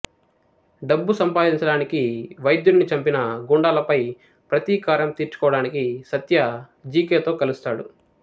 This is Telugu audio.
డబ్బు సంపాదించడానికి వైద్యుడిని చంపిన గూండాలపై ప్రతీకారం తీర్చుకోవడానికీ సత్య జికెతో కలుస్తాడు